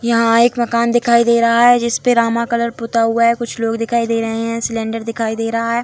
यहां एक मकान दिखाई दे रहा है जिसपे रामा कलर पुता हुआ है कुछ लोग दिखाई दे रहे है सिलेंडर दिखाई दे रहा है।